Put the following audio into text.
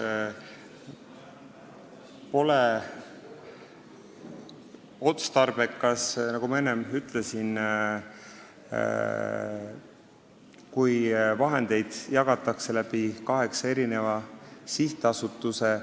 See pole otstarbekas, nagu ma enne ütlesin, kui vahendeid jagatakse läbi kaheksa sihtasutuse.